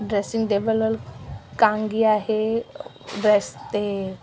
dressing table वर कांगी आहे --